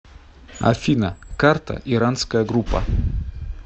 афина карта иранская группа